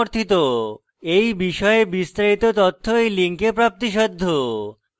এই বিষয়ে বিস্তারিত তথ্য এই লিঙ্কে প্রাপ্তিসাধ্য